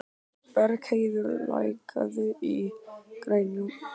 Bergheiður, lækkaðu í græjunum.